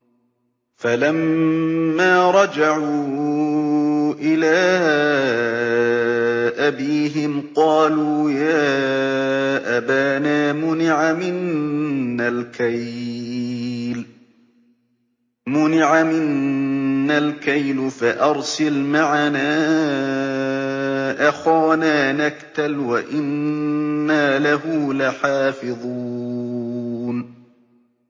فَلَمَّا رَجَعُوا إِلَىٰ أَبِيهِمْ قَالُوا يَا أَبَانَا مُنِعَ مِنَّا الْكَيْلُ فَأَرْسِلْ مَعَنَا أَخَانَا نَكْتَلْ وَإِنَّا لَهُ لَحَافِظُونَ